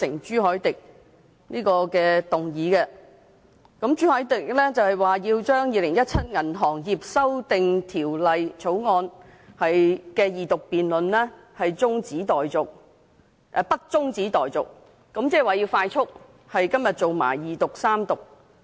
朱凱廸議員提出《2017年銀行業條例草案》的二讀辯論不中止待續，即是要《條例草案》迅速地在今天進行二讀和三讀。